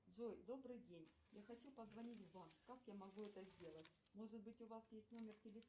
джой добрый день я хочу позвонить в банк как я могу это сделать может быть у вас есть номер телефона